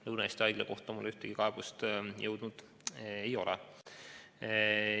Lõuna-Eesti Haigla kohta mulle ühtegi kaebust jõudnud ei ole.